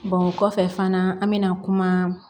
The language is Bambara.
o kɔfɛ fana an mɛna kuma